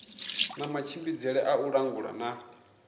matshimbidzele a u langula na